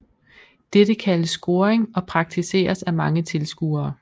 Dette kaldes scoring og praktiseres af mange tilskuere